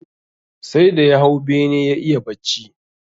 Sai da ya hau bene ya iya bacci